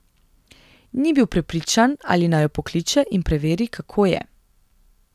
Ni bil prepričan, ali naj jo pokliče in preveri, kako je.